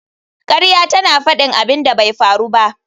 Ƙarya tana faɗin abin da bai faru ba